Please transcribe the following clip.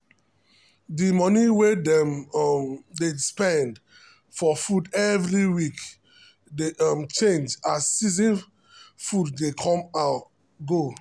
the money wey dem um dey spend for food every week dey um change as season food dey come or go.